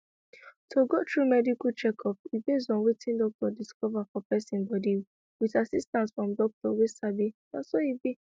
to go through medical checkup e base on wetin doctor discover for person body with assistance from doctor wey sabi na so e be